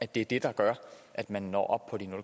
det er det der gør at man når op på de